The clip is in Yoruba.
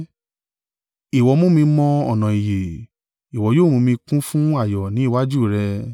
Ìwọ mú mi mọ ọ̀nà ìyè, ìwọ yóò mú mi kún fún ayọ̀ ni iwájú rẹ.’